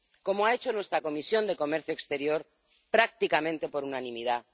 como ha hecho nuestra Comisión de Comercio Exterior, prácticamente por unanimidad